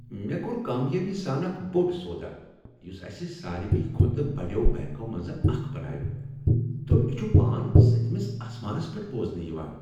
مےٚ کوٚر کامیٲبی سان اکھ بوٚڈ سودا یس اسہ ساروٕے کھۄتہٕ بڈیو بنٛکو منٛز اکھ بناوِ تہٕ مےٚ چھ پان سٔتۍمس اسمانس پیٹھ بوزنہٕ یوان۔